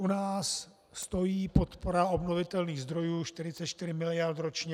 U nás stojí podpora obnovitelných zdrojů 44 mld. ročně.